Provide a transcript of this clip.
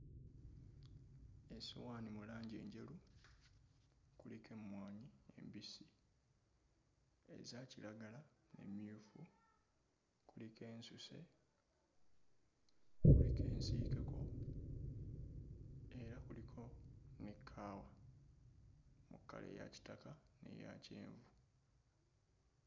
Essowaani mu langi enjeru kuliko emmwanyi embisi, eza kiragala n'emmyufu, kuliko ensuse, kuliko ensiikeko era kuliko ne kaawa mu kkala eya kitaka n'eya kyenvu.